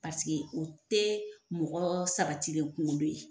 Paseke o tɛ mɔgɔ sabatilen kunkolo ye.